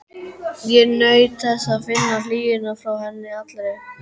Og naut þess að finna hlýjuna frá henni allri.